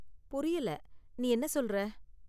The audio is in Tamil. புரியல, நீ என்ன சொல்ற?